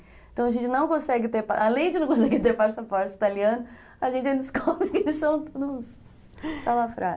Então a gente não consegue ter, além de não conseguir ter passaporte italiano, a gente descobre que eles são todos salafrários